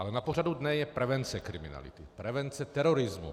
Ale na pořadu dne je prevence kriminality, prevence terorismu.